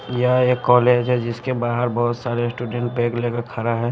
यह एक कॉलेज है जिसके बाहर बहुत सारे स्टूडेंट बैग लेकर खड़ा है।